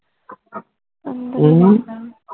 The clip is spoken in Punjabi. ਅਨੂ